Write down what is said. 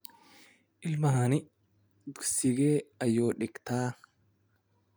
ilmahani dhugsigee ayu dhigtaa?